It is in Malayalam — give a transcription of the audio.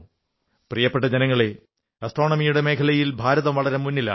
പ്രിയപ്പെട്ട ജനങ്ങളേ ആസ്ട്രോണമിയുടെ മേഖലയിൽ ഭാരതം വളരെ മുന്നിലാണ്